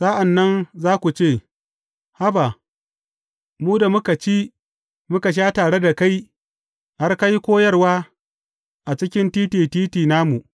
Sa’an nan za ku ce, Haba, mu da muka ci, muka sha tare da kai, har ka yi koyarwa a cikin titi titi namu.’